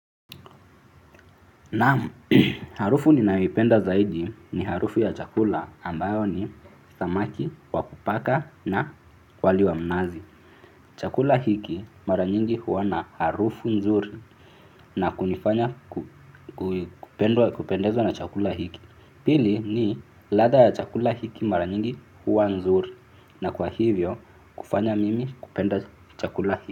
Naam harufu ninaipenda zaidi ni harufu ya chakula ambayo ni samaki, wa kupaka na wali wa mnazi. Chakula hiki mara nyingi huwa na harufu nzuri na kunifanya kupendezwa na chakula hiki. Pili ni ladha ya chakula hiki mara nyingi huwa nzuri na kwa hivyo kufanya mimi kupenda chakula hiki.